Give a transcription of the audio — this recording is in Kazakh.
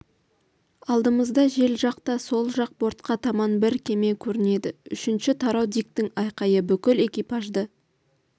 алдымызда жел жақта сол жақ бортқа таман бір кеме көрінеді үшінші тарау диктің айқайы бүкіл экипажды